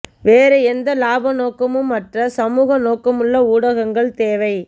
வேறு எந்த இலாப நோக்கமும் அற்ற சமூக நோக்கமுள்ள ஊடகங்கள் தேவை